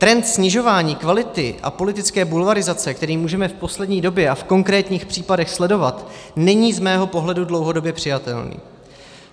Trend snižování kvality a politické bulvarizace, které můžeme v poslední době a v konkrétních případech sledovat, není z mého pohledu dlouhodobě přijatelný.